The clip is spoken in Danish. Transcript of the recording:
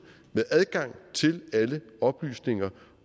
med adgang til alle oplysninger